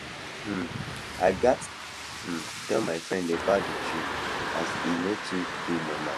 um i gats um tell tell my friend about d dream as e no too dey normal